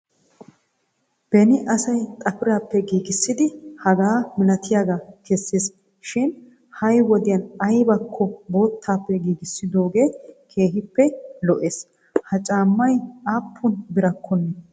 Beni asayi xapiraappe giigissid hagaa malatiyaga kesses shin ha'i wodiyan ayibakko boottaban giigissidoogee keehippe lo'es. Ha caammay aappun birakkonne eret